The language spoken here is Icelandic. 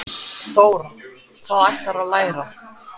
Þóra: Hvað ætlarðu að læra?